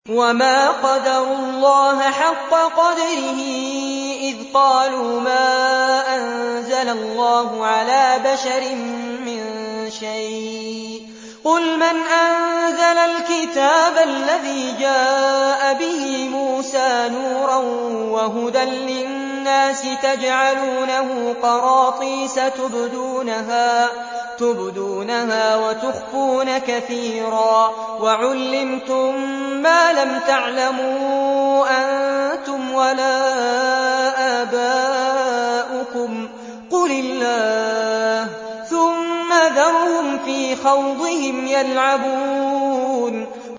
وَمَا قَدَرُوا اللَّهَ حَقَّ قَدْرِهِ إِذْ قَالُوا مَا أَنزَلَ اللَّهُ عَلَىٰ بَشَرٍ مِّن شَيْءٍ ۗ قُلْ مَنْ أَنزَلَ الْكِتَابَ الَّذِي جَاءَ بِهِ مُوسَىٰ نُورًا وَهُدًى لِّلنَّاسِ ۖ تَجْعَلُونَهُ قَرَاطِيسَ تُبْدُونَهَا وَتُخْفُونَ كَثِيرًا ۖ وَعُلِّمْتُم مَّا لَمْ تَعْلَمُوا أَنتُمْ وَلَا آبَاؤُكُمْ ۖ قُلِ اللَّهُ ۖ ثُمَّ ذَرْهُمْ فِي خَوْضِهِمْ يَلْعَبُونَ